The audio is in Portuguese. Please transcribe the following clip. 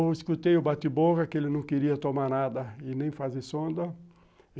Eu escutei o bate-boca que ele não queria tomar nada e nem fazer sonda.